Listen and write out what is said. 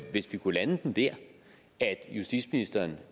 hvis vi kunne lande den der at justitsministeren